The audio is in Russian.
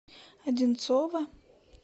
одинцово